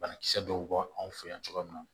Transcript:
Banakisɛ dɔw bɛ bɔ anw fɛ yan cogoya min na